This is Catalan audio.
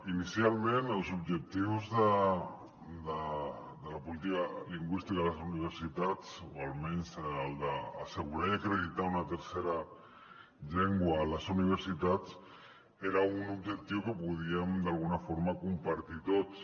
inicialment els objectius de la política lingüística a les universitats o almenys el d’assegurar i acreditar una tercera llengua a les universitats era un objectiu que podíem d’alguna forma compartir tots